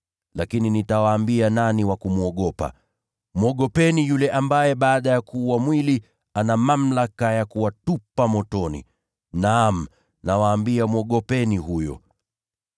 Lakini nitawaambia nani wa kumwogopa: Mwogopeni yule ambaye baada ya kuua mwili, ana mamlaka ya kuwatupa motoni. Naam, nawaambia, mwogopeni huyo!